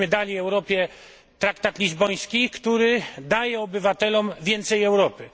Daliśmy Europie traktat lizboński, który daje obywatelom więcej Europy.